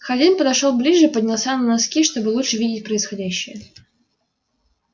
хардин подошёл ближе поднялся на носки чтобы лучше видеть происходящее